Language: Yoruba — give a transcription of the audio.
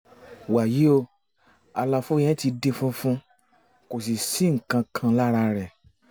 wàyí o àlàfo yẹn ti di funfun kò sì sí nǹkan kan lára rẹ̀